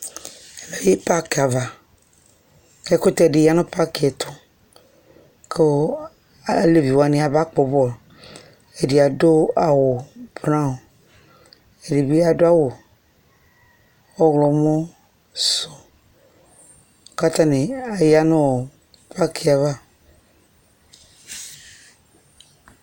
Adʋ pakɩ ava :k'ɛkʋtɛdɩ ya nʋ pakɩɛtʋ , k'ɔɔ alevi wanɩ yaba kpɔ bɔlʋ Ɛdɩ adʋ braɔnɩ , ɛdɩ bɩ adʋ awʋ ɔɣlɔmɔ sʋ , k'atanɩ zya nɔɔ pakɩɛ ava